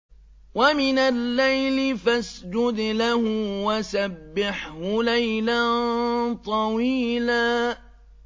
وَمِنَ اللَّيْلِ فَاسْجُدْ لَهُ وَسَبِّحْهُ لَيْلًا طَوِيلًا